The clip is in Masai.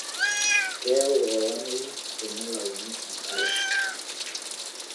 keyau olameyuu eleuni enkare